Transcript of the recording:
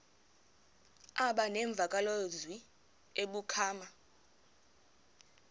aba nemvakalozwi ebuphakama